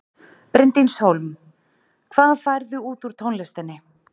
Bryndís Hólm: Hvað færðu út úr tónlistinni?